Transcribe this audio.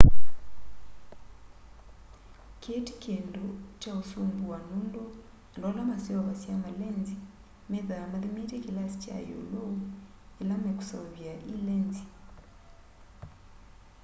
kii ti kindu kya usumbua nundu andu ala maseuvasya malenzi methwaa mathimite kilasi kya iulu ila mekuseuvya i lenzi